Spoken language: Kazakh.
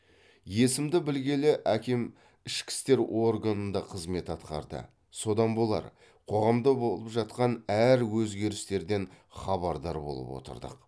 есімді білгелі әкем ішкі істер органында қызмет атқарды содан болар қоғамда болып жатқан әр өзгерістерден хабардар болып отырдық